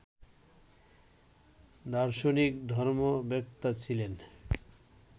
দার্শনিক, ধর্মবেত্তা ছিলেন